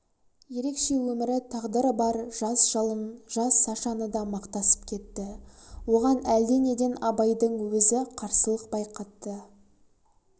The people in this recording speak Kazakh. ерекше өмірі тағдыры бар жалын жас сашаны да мақтасып кетті оған әлденеден абайдың өзі қарсылық байқатты